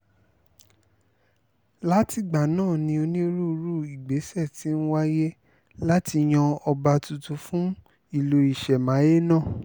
látìgbà náà ni onírúurú ìgbésẹ̀ ti ń wáyè láti yan ọba tuntun fún ìlú ìṣẹ̀máyé náà